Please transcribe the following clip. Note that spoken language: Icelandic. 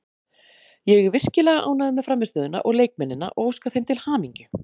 Ég er virkilega ánægður með frammistöðuna og leikmennina og óska þeim til hamingju.